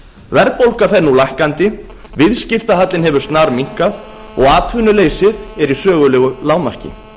verðbólga fer nú minnkandi viðskiptahallinn hefur snarminnkað og atvinnuleysið er í sögulegu lágmarki